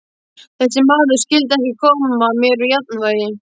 Þessi maður skyldi ekki koma mér úr jafnvægi.